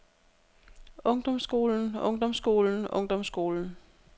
ungdomsskolen ungdomsskolen ungdomsskolen